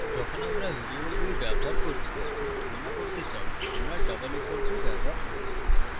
যখন আমরা ভ্যারিয়েবলগুলি ব্যবহার করছি এবং তুলনা করতে চাই আমরা double equal to ব্যবহার করি